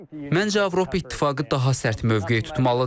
Məncə Avropa İttifaqı daha sərt mövqe tutmalıdır.